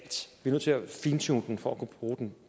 nødt til at fintune den for at kunne bruge den